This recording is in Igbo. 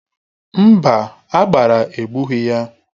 Mba, agbara egbughị ya.